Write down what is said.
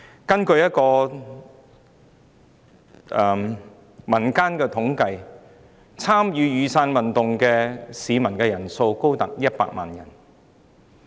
根據一項民間統計，參與雨傘運動的市民數目高達100萬人。